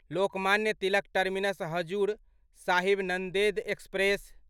Lokmanya Tilak terminus Hazur Sahib Nanded express